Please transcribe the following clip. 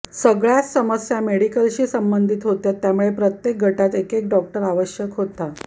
सगळ्याच समस्या मेडिकलशी संबंधित होत्या त्यामुळे प्रत्येक गटात एकेक डॉक्टर आवश्यक होता